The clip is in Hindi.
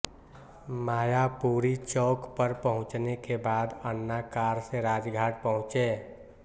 मायापुरी चौक पर पहुंचने के बाद अन्ना कार से राजघाट पहुंचे